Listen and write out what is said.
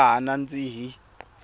ya ha nandzihi